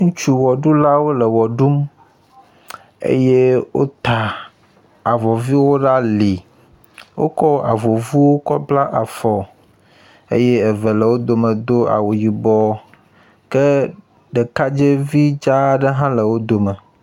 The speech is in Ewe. Ŋutsu wɔɖulawo le wɔ ɖum eye wota avɔ viwo ɖe ali, wokɔ avɔ vuwo kɔ bla afɔ eye eve le wo dome do awu yibɔ ke ɖekadzɛvi dzaa aɖe hã le wo dome.